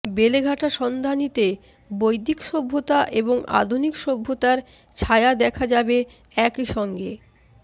বেলেঘাটা সন্ধানী তে বৈদিক সভ্যতা এবং আধুনিক সভ্যতার ছায়া দেখা যাবে একই সঙ্গে